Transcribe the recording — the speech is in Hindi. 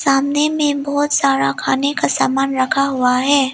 सामने में बहुत सारा खाने का सामान रखा हुआ है।